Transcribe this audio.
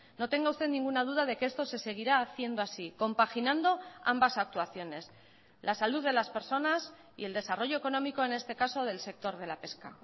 no tenga usted ninguna duda de que esto se seguirá haciendo así compaginando ambas actuaciones la salud de las personas y el desarrollo económico en este caso del sector de la pesca